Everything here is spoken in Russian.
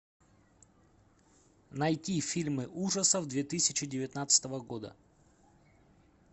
найти фильмы ужасов две тысячи девятнадцатого года